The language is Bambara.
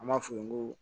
An b'a f'u ye ko